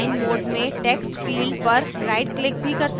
आप यहाँ design mode में टेक्स्टफिल्ड पर rightclick भी कर सकते हैं